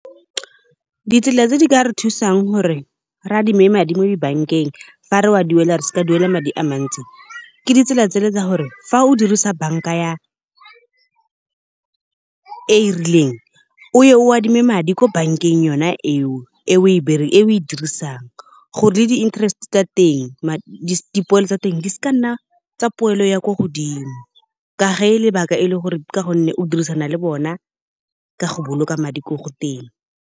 Ditsela tse di ka re thusang gore re adime madi mo di-bank-eng fa re a duela re se ka duela madi a mantsi. Ke ditsela tse le tsa gore fa o dirisa bank-a e e rileng o adime madi ko bank-eng yona eo e o e dirisang. Gore le di interest tsa teng dipoelo tsa teng di seka nna tsa poelo ya ko godimo, ka ge lebaka e le gore ka gonne o dirisana le bona, ka go boloka madi ko go teng.